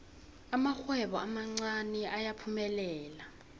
amarhwebo amancani ayaphumelela